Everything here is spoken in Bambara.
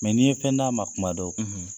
Mɛ n'i ye fɛn d'a ma kuma dɔw,